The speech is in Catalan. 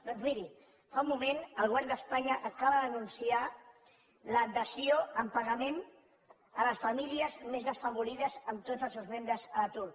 doncs miri fa un moment el govern d’espanya acaba d’anunciar la dació en pagament per a les famílies més desafavorides amb tots els seus membres a l’atur